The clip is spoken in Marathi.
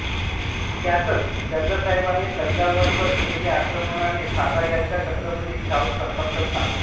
त्यातच चंदासाहेबाने तंजावरवर केलेल्या आक्रमणाने सातार्याचा छत्रपती शाहू संतप्त झाला